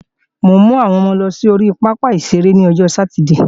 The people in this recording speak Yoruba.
Mò ń mú àwọn ọmọ lọ sí ori pápá ìṣeré lọ́jọ sátidée